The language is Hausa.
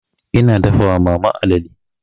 Ina dafa wa mama alale.